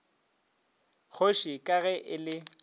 kgoši ka ge e le